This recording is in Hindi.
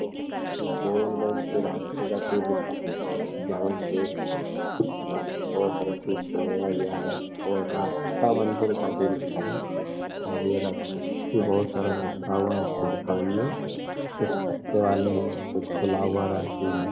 बल्ब बहुत रास्ते का कोई दिखाई दे जहाँ पे बहुत सारा चीज़ से आवाज आ रहा है और रखा है और ये बहुत सारा कुछ कुछ खुला हुआ रहते हैं।